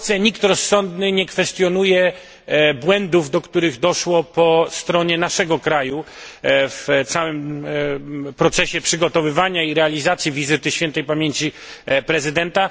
W Polsce nikt rozsądny nie kwestionuje błędów, do których doszło po stronie naszego kraju w całym procesie przygotowywania i realizacji wizyty świętej pamięci prezydenta.